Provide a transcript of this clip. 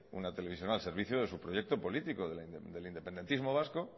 una televisión al servicio de su proyecto político del independentismo vasco